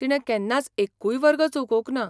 तिणें केन्नाच एक्कूय वर्ग चुकोवंक ना.